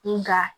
Nga